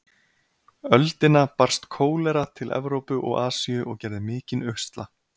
öldina barst kólera til Evrópu og Asíu og gerði mikinn usla.